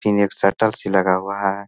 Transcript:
फिर एक शटल सी लगा हुआ है।